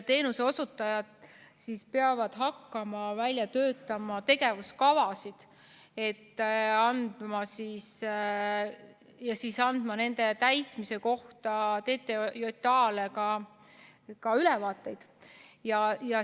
Teenuseosutajad peavad hakkama välja töötama tegevuskavasid ja andma nende täitmise kohta TTJA‑le ka ülevaateid.